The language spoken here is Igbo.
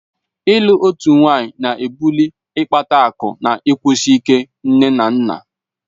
Ịlụ otu nwaanyị ná-ebuli ịkpata akụ na ịkwụsi ike nne na nna